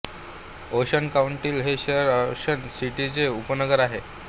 ocean काउंटीतील हे शहर ओशन सिटीचे उपनगर आहे